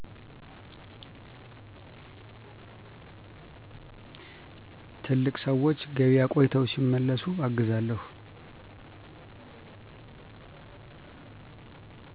ትልቅ ሰዎች ገቢያ ቆይተው ሲመለሡ እግዛለሁ